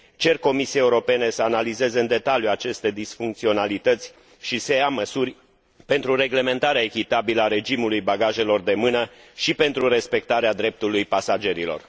Cer Comisiei Europene să analizeze în detaliu aceste disfuncționalități și să ia măsuri pentru reglementarea echitabilă a regimului bagajelor de mână și pentru respectarea dreptului pasagerilor.